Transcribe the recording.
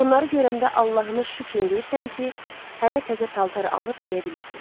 Bunları görəndə Allahına şükür eləyirsən ki, hələ təzə paltar alıb geyə bilirsən.